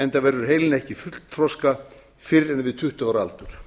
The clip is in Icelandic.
enda verður heilinn ekki fullþroska fyrr en við tuttugu ára aldur